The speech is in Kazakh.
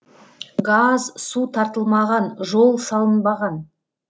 газ су тартылмаған жол салынбаған